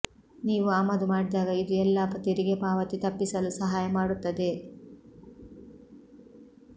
ನೀವು ಆಮದು ಮಾಡಿದಾಗ ಇದು ಎಲ್ಲಾ ತೆರಿಗೆ ಪಾವತಿ ತಪ್ಪಿಸಲು ಸಹಾಯ ಮಾಡುತ್ತದೆ